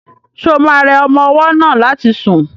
Ṣo ma rẹ ọmọ ọwọ́ náà láti sùn?